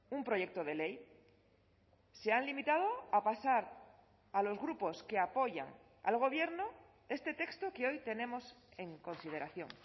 un proyecto de ley se han limitado a pasar a los grupos que apoyan al gobierno este texto que hoy tenemos en consideración